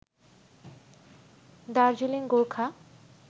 Darjeeling Gorkha